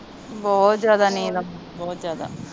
ਬਹੁਤ ਜਾਂਦਾ ਨੀਂਦ ਆਉਂਦੀ ਬਹੁਤ ਜਾਦਾ